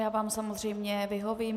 Já vám samozřejmě vyhovím.